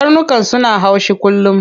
Karnukan suna haushi kullum.